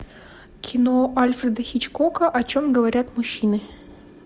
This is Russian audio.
кино альфреда хичкока о чем говорят мужчины